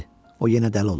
O yenə dəli olub.